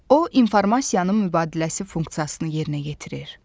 O, informasiyanın mübadiləsi funksiyasını yerinə yetirir.